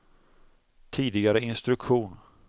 tidigare instruktion